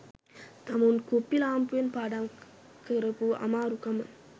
තමුන් කුප්පි ලාම්පුයෙන් පාඩම් කරපු අමාරුකම